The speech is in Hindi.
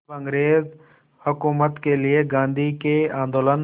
अब अंग्रेज़ हुकूमत के लिए गांधी के आंदोलन